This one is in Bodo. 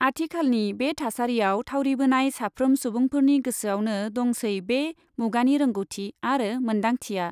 आथिखालनि बे थासारियाव थावरिबोनाय साफ्रोम सुबुंफोरनि गोसोयावनो दंसै बे मुगानि रोंग'थि आरो मोन्दांथिया।